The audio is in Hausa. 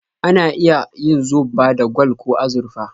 Ana iya yin zobba da gwal ko azurfa